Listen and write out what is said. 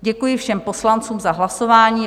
Děkuji všem poslancům za hlasování.